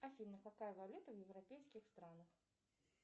афина какая валюта в европейских странах